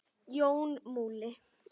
Jón Múli